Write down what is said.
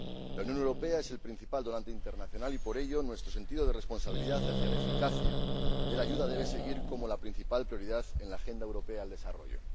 La Unión Europea es el principal donante internacional y, por ello, nuestro sentido de la responsabilidad hacia la eficacia de la ayuda debe seguir siendo la principal prioridad en la agenda europea para el desarrollo.